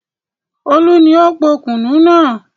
Olú ni ó po kùnú náà.